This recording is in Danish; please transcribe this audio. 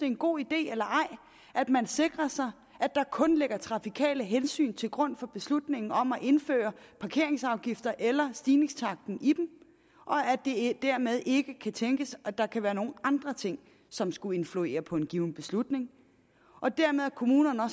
en god idé eller ej at man sikrer sig at der kun ligger trafikale hensyn til grund for beslutningen om at indføre parkeringsafgifter eller stigningstakten i dem og at det dermed ikke kan tænkes at der kan være nogen andre ting som skulle influere på en given beslutning og dermed at kommunerne